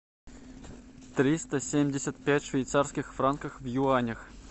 триста семьдесят пять швейцарских франков в юанях